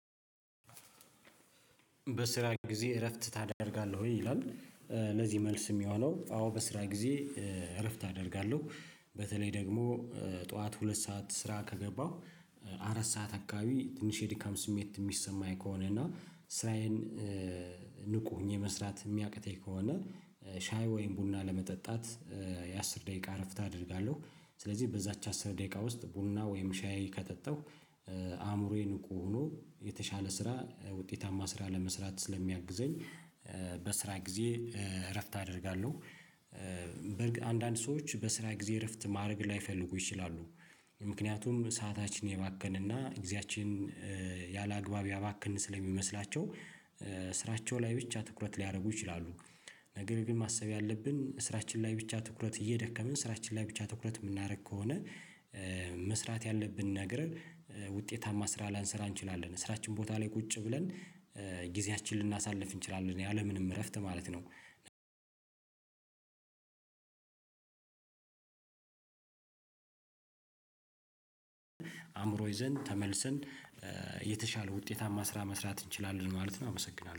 በስራ ጊዜ እረፍት ታደርጋለህ ወይ ይላል? ለዚህ መልስ የሚሆነው አዎ በስራ ጊዜ እረፍት አደርጋለሁ በተለይ ደግሞ ጠዋት ሁለት ሰዓት ስራ ከገባሁ አራት ሰዓት አካባቢ ትንሽ የድካም ስሜት የሚሰማኝ ከሆነ እና ስራዬን ንቁ ሆኜ መስራት የሚያቅተኝ ከሆነ ሻይ ወይም ቡና ለመጠጣት የአስር ደቂቃ እረፍት አደርጋለሁ። ስለዚህ በዛች አስር ደቂቃ ውስጥ ቡና ወይም ሻይ ከጠጣሁ አእምሮዬ ንቁ ሆኖ የተሻለ ስራ ውጤታማ ስራ ለመስራት ስለሚያግዘኝ በስራ ጊዜ እረፍት አደርጋለሁ። በርግጥ አንዳንድ ሰዎች በስራ ጊዜ እረፍት ማድረግ ላይፈልጉ ይችላሉ። ምክንያቱም ሰአታችንን የባከነ እና ግዜያችን ያላግባብ ያባከን ስለሚመስላቸው። ስራቸው ላይ ብቻ ትኩረት ሊያደርጉ ይችላሉ። ነገር ግን ማሰብ ያለብን በስራችን ላይ ብቻ ትኩረት እየደከምን ስራችን ላይ ብቻ ትኩረት የምናደርግ ከሆነ መስራት ያለብን ነገር ውጤታማ ስራ ላንስራ እንችላለን ስራችን ቦታ ላይ ቁጭ ብለን ጊዜያችንን ልናሳልፍ እንችላለን ያለምንም እረፍት ማለት ነው። አእምሮ ይዘን ተመልሰን የተሻለ ውጤታማ ስራ መስራት እንችላለን ማለት ነው። አመሰግናለሁ